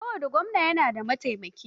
Kowane gwamna yana da mataimaki.